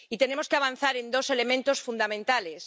Y tenemos que avanzar en dos elementos fundamentales.